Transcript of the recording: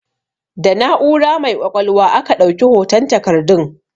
Da na'ura mai ƙwaƙwalwa aka ɗauki hoton takardun